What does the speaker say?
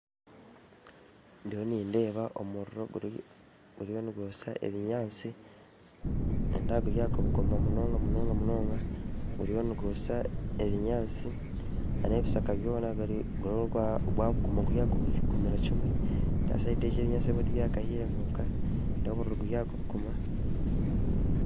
Ndiyo nindeeba omuriro guriyo nigwosya ebinyansi nindeeba guryaka munonga munonga munonga guriyo nigwosya ebinyansi n'ebishaka byona guriyo gwabuguma guri aha kubugumira kimwe nindeeba siyidi egyo ebinyansi tibyakahire kwonka nindeeba omuriro guri aha kubuguma